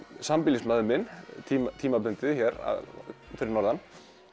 sambýlismaður minn tímabundið hér fyrir norðan